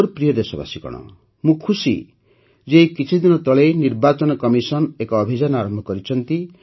ମୋର ପ୍ରିୟ ଦେଶବାସୀଗଣ ମୁଁ ଖୁସି ଯେ ଏଇ କିଛିଦିନ ତଳେ ନିର୍ବାଚନ କମିଶନ ଏକ ଅଭିଯାନ ଆରମ୍ଭ କରିଛନ୍ତି